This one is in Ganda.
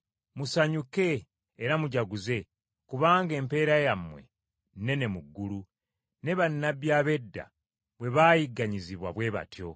Musanyuke era mujaguze kubanga empeera yammwe nnene mu ggulu, ne bannabbi ab’edda bwe baayigganyizibwa bwe batyo.”